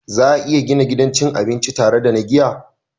Za a iya gina gidan cin abinci tare da na giya